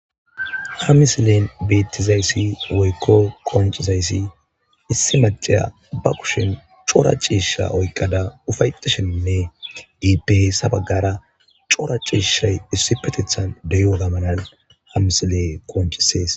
ha misilen beettizayssi woykko kooncizayssi issi maceya ba kushin coora ciisha oykqada ufaytishinne giipehesabaggara coora ciishay issi petethan deyo gamanan ha misile kooncisees